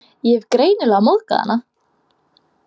Ég hef greinilega móðgað hana.